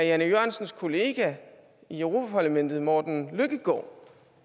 jan e jørgensens kollega i europa parlamentet morten løkkegaard